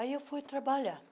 Aí eu fui trabalhar.